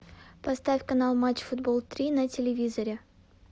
поставь канал матч футбол три на телевизоре